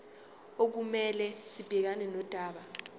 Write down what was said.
okumele sibhekane nodaba